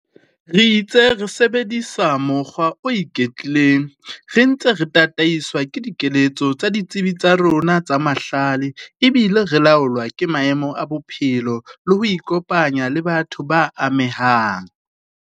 Re itse re sebedisa mokgwa o iketlileng re ntse re tataiswa ke dikeletso tsa ditsebi tsa rona tsa mahlale ebile re laolwa ke maemo a bophelo le ho ikopanya le batho ba amehang.